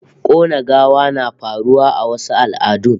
Kona gawa na faruwa a wasu al'adun